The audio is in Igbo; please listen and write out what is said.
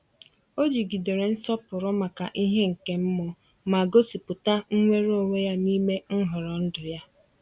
Ọ jigidere nsọpụrụ maka ihe nke mmụọ, ma gosipụta nnwere onwe ya n’ime nhọrọ ndụ ya.